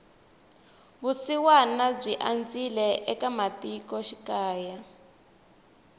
vusiwana byi andzile ematiko xikaya